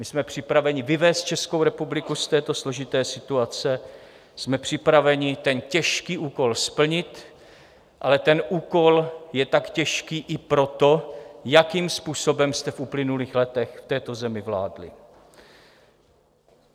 My jsme připraveni vyvést Českou republiku z této složité situace, jsme připraveni ten těžký úkol splnit, ale ten úkol je tak těžký i proto, jakým způsobem jste v uplynulých letech v této zemi vládli.